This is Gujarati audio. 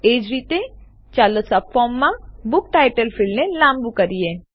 એજ રીતે ચાલો સબફોર્મમાં બૂક ટાઈટલ ફીલ્ડને લાંબુ કરીએ